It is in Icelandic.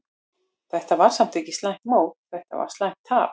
Þetta var samt ekki slæmt mót, þetta var slæmt tap.